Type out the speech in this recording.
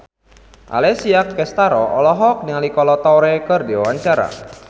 Alessia Cestaro olohok ningali Kolo Taure keur diwawancara